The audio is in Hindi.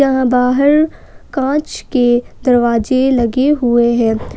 यहां बाहर कांच के दरवाजे लगे हुए हैं।